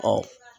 Ɔ